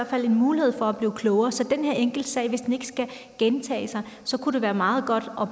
fald en mulighed for at blive klogere så hvis den her enkeltsag ikke skal gentages kunne det være meget godt